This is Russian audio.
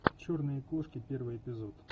черные кошки первый эпизод